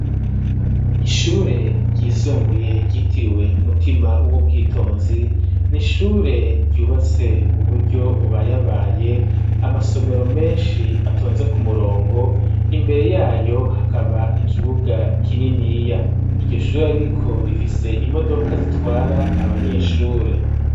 Ishure ryisumbuye ryitiriwe umutima w'ubwitonzi n'ishure ryubatse mu buryo bubayabaye amasomero meshi atonze ku murongo imbere yayo hakaba ikibuga kininiya iryo shure ariko rifise imodoka zitwara abanyeshure.